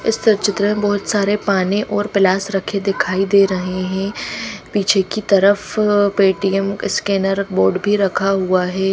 इस त चित्र बहोत सारे पाने और पलाश रखे दिखाई दे रहे हैं पीछे की तरफ पेटीएम स्कैनर बोर्ड भी रखा हुआ है।